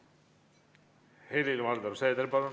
Helir-Valdor Seeder, palun!